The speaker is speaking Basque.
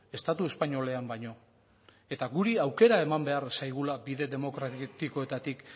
estatu espainolean baino eta guri aukera eman behar zaigula bide demokratikoetatik